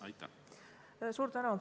Suur tänu!